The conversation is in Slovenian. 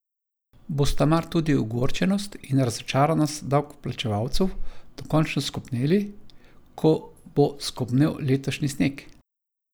Bosta mar tudi ogorčenost in razočaranost davkoplačevalcev dokončno skopneli, ko bo skopnel letošnji sneg?